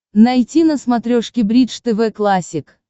найти на смотрешке бридж тв классик